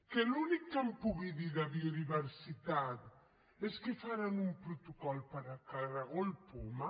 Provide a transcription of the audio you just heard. que l’únic que em pugui dir de biodiversi·tat és que faran un protocol per al caragol poma